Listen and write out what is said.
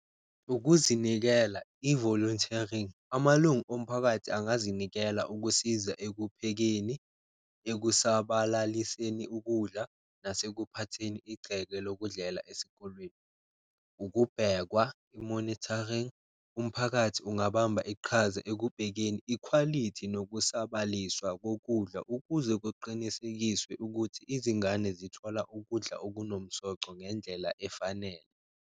Ukuzinikela i-volunteering, amalungu omphakathi angazinikela ukusiza ekuphekeni, ekusabalaliseni ukudla nase kuphatheni igceke lokudlela esikolweni. Ukubhekwa i-monitoring, umphakathi ungabamba iqhaza ekubhekeni ikhwalithi nokusabaliswa kokudla, ukuze kuqinisekiswe ukuthi izingane zithola ukudla okunomsoco ngendlela efanele.